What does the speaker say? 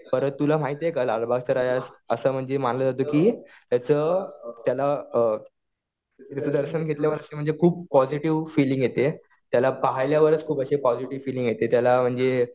परत तुला माहितीये का लालबागच्या राजास असं म्हणजे मानल्या जातं कि त्याचं, त्याला, त्याचं दर्शन घेतल्यावरती म्हणजे खूप पॉजिटीव्ह फिलिंग येते. त्याला पाहिल्यावरच खूप अशी पॉजिटीव्ह फिलिंग येते. त्याला म्हणजे